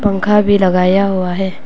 पंखा भी लगाया हुआ है।